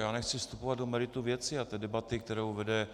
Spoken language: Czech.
Já nechci vstupovat do merita věci a té debaty, kterou vede